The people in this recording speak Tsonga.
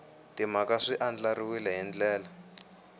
timhaka swi andlariwile hi ndlela